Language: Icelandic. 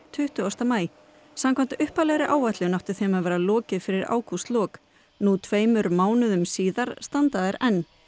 tuttugasta maí samkvæmt upphaflegri áætlun átti þeim að vera lokið fyrir ágústlok nú tveimur mánuðum síðar standa þær enn